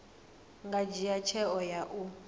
nga dzhia tsheo ya u